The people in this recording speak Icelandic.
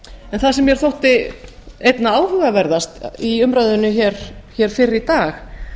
en það sem mér þótti einna áhugaverðast í umræðunni hér fyrr í dag